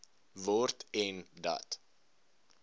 word en dat